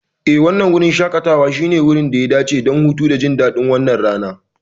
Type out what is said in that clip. Eh, wannan wurin shaƙatawa shine wurin da ya dace don hutu, jin daɗin wannan rana.